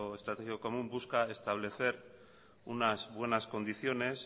estratégico común busca establecer unas buenas condiciones